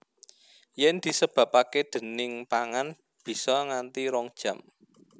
Yen disebabake déning pangan bisa nganti rong jam